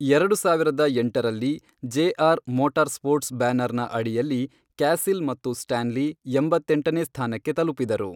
ಎರಡು ಸಾವಿರದ ಎಂಟರಲ್ಲಿ ಜೆಆರ್ ಮೋಟಾರ್ಸ್ಪೋರ್ಟ್ಸ್ ಬ್ಯಾನರ್ನ ಅಡಿಯಲ್ಲಿ ಕ್ಯಾಸಿಲ್ ಮತ್ತು ಸ್ಟಾನ್ಲಿ ಎಂಬತ್ತೆಂಟನೇ ಸ್ಥಾನಕ್ಕೆ ತಲುಪಿದರು.